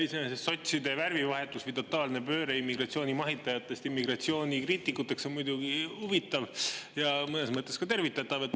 Iseenesest sotside värvivahetus, totaalne pööre immigratsiooni mahitajatest immigratsiooni kriitikuteks on muidugi huvitav ja mõnes mõttes ka tervitatav.